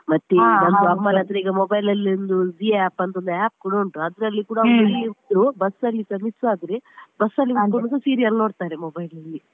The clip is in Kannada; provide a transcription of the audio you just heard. ಮತ್ತೆ ಈಗ ಅಮ್ಮನ ಹತ್ರ ಈಗ mobile ಅಲ್ಲಿ ಒಂದು Zee app ಅಂತ ಒಂದು app ಕೂಡ ಉಂಟು ಅದ್ರಲ್ಲಿ ಕೂಡ bus ಅಲ್ಲಿ miss ಆದ್ರೆ bus ಅಲ್ಲಿ ಕೂತ್ಕೊಂಡ್ serial ನೋಡ್ತಾರೆ mobile ಅಲ್ಲಿ.